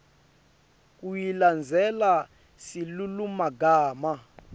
kuyilandzela silulumagama